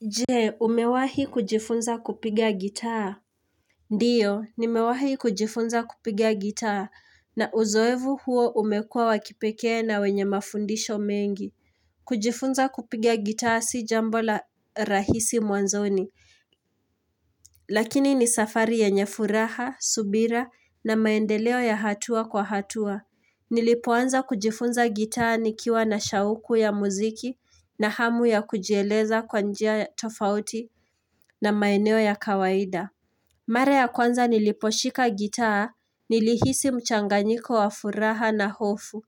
Je, umewahi kujifunza kupiga gitaa? Ndiyo, nimewahi kujifunza kupiga gitaa, na uzoevu huo umekua wa kipekee na wenye mafundisho mengi. Kujifunza kupiga gitaa si jambo la rahisi mwanzoni, lakini ni safari yenye furaha, subira na maendeleo ya hatua kwa hatua. Nilipoanza kujifunza gitaa nikiwa na shauku ya muziki na hamu ya kujieleza kwa njia tofauti na maeneo ya kawaida Mara ya kwanza niliposhika gitaa nilihisi mchanganyiko wa furaha na hofu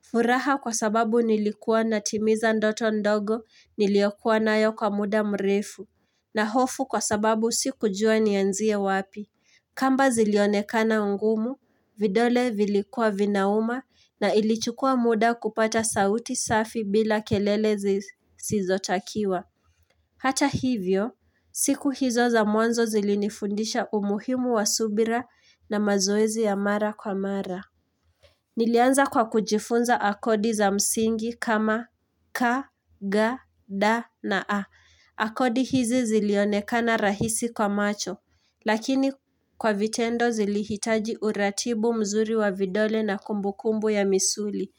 furaha kwa sababu nilikuwa natimiza ndoto ndogo niliyokuwa nayo kwa muda mrefu na hofu kwa sababu sikujua nianzie wapi kamba zilionekana ngumu, vidole vilikua vinauma na ilichukua muda kupata sauti safi bila kelele zisizotakiwa. Hata hivyo, siku hizo za mwanzo zilinifundisha umuhimu wa subira na mazoezi ya mara kwa mara. Nilianza kwa kujifunza akodi za msingi kama ka, ga, da na a. Akodi hizi zilionekana rahisi kwa macho, lakini kwa vitendo zilihitaji uratibu mzuri wa vidole na kumbukumbu ya misuli.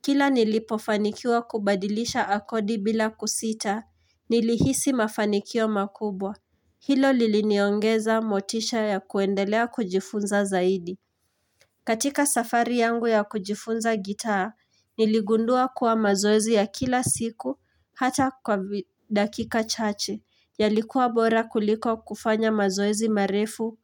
Kila nilipofanikiwa kubadilisha akodi bila kusita, nilihisi mafanikio makubwa. Hilo liliniongeza motisha ya kuendelea kujifunza zaidi. Katika safari yangu ya kujifunza gitaa, niligundua kuwa mazoezi ya kila siku, hata kwa dakika chache, yalikuwa bora kuliko kufanya mazoezi marefu,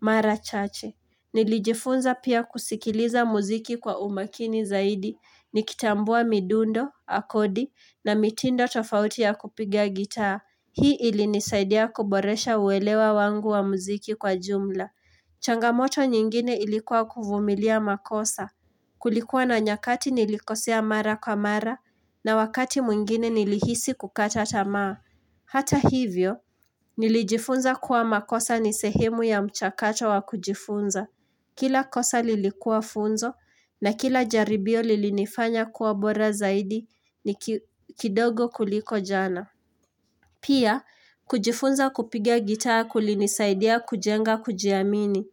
mara chache. Nilijifunza pia kusikiliza muziki kwa umakini zaidi, nikitambua midundo, akodi, na mitindo tofauti ya kupigia gitaa. Hii ilinisaidia kuboresha uelewa wangu wa muziki kwa jumla. Changamoto nyingine ilikuwa kuvumilia makosa. Kulikuwa na nyakati nilikosea mara kwa mara na wakati mwengine nilihisi kukata tamaa. Hata hivyo, nilijifunza kuwa makosa ni sehemu ya mchakato wa kujifunza. Kila kosa lilikuwa funzo na kila jaribio lilinifanya kuwa bora zaidi ni kidogo kuliko jana. Pia, kujifunza kupiga gitaa kulinisaidia kujenga kujiamini.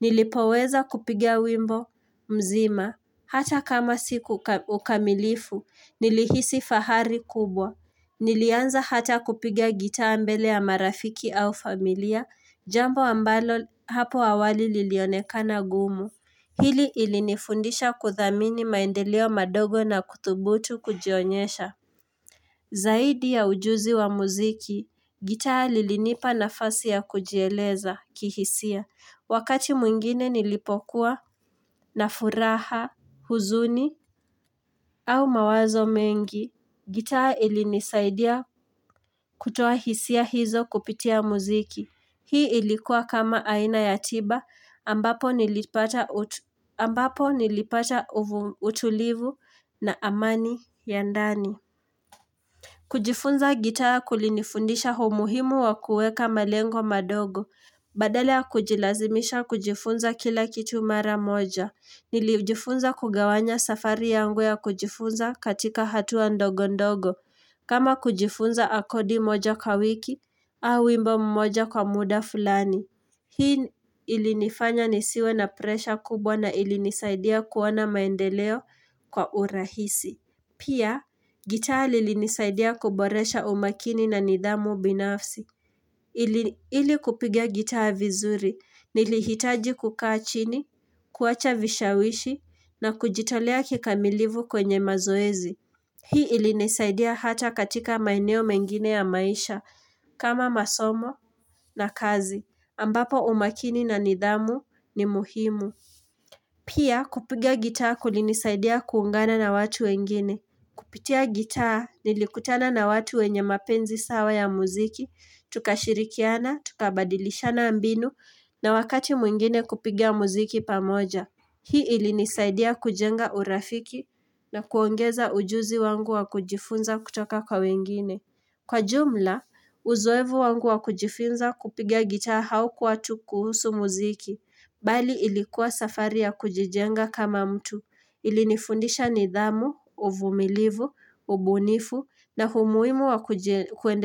Nilipoweza kupiga wimbo mzima. Hata kama siku ukamilifu, nilihisi fahari kubwa. Nilianza hata kupiga gitaa mbele ya marafiki au familia, jambo ambalo hapo awali lilionekana gumu. Hili ilinifundisha kuthamini maendeleo madogo na kuthubutu kujionyesha. Zaidi ya ujuzi wa muziki, gitaa lilinipa nafasi ya kujieleza kihisia. Wakati mwingine nilipokuwa na furaha, huzuni au mawazo mengi, gitaa ilinisaidia kutoa hisia hizo kupitia muziki. Hii ilikuwa kama aina ya tiba ambapo nilipata utulivu na amani ya ndani. Kujifunza gitaa kulinifundisha humuhimu wa kueka malengo madogo. Badala ya kujilazimisha kujifunza kila kitu mara moja. Nilijifunza kugawanya safari yangu ya kujifunza katika hatua ndogo ndogo. Kama kujifunza akodi moja kwa wiki, au wimbo mmoja kwa muda fulani. Hii ilinifanya nisiwe na presha kubwa na ilinisaidia kuona maendeleo kwa urahisi. Pia, gitaa lilinisaidia kuboresha umakini na nidhamu binafsi. Ili kupiga gitaa vizuri, nilihitaji kukaa chini, kuacha vishawishi, na kujitolea kikamilivu kwenye mazoezi. Hii ilinisaidia hata katika maeneo mengine ya maisha, kama masomo na kazi, ambapo umakini na nidhamu ni muhimu. Pia kupiga gitaa kulinisaidia kuungana na watu wengine. Kupitia gitaa nilikutana na watu wenye mapenzi sawa ya muziki, tukashirikiana, tukabadilishana mbinu na wakati mwingine kupiga muziki pamoja. Hii ilinisaidia kujenga urafiki na kuongeza ujuzi wangu wa kujifunza kutoka kwa wengine. Kwa jumla, uzoevu wangu wa kujifunza kupiga gitaa haukuwa tu kuhusu muziki, bali ilikuwa safari ya kujijenga kama mtu, ilinifundisha nidhamu, uvumilivu, ubunifu na humuimu wa kuende.